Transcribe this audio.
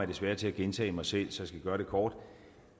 desværre til at gentage mig selv så jeg skal gøre det kort